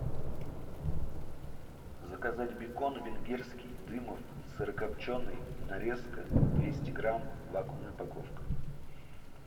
заказать бекон венгерский дымов сырокопченый нарезка двести грамм вакуумная упаковка